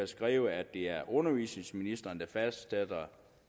skrevet at det er undervisningsministeren der fastsætter